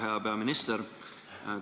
Hea peaminister!